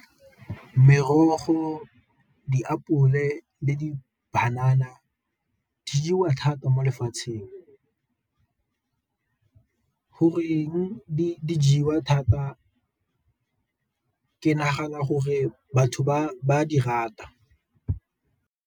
Merogo, diapole le di-banana di jewa thata mo lefatsheng. Goreng di jewa thata? Ke nagana gore batho ba di rata.